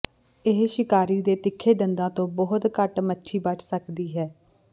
ਇਹ ਸ਼ਿਕਾਰੀ ਦੇ ਤਿੱਖੇ ਦੰਦਾਂ ਤੋਂ ਬਹੁਤ ਘੱਟ ਮੱਛੀ ਬਚ ਸਕਦੀ ਹੈ